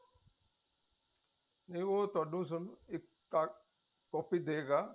ਨਹੀ ਉਹ ਤੁਹਾਨੂੰ ਸਿਰਫ ਇੱਕ ਕਾਪੀ ਦੇਗਾ